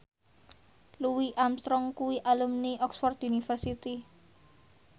Louis Armstrong kuwi alumni Oxford university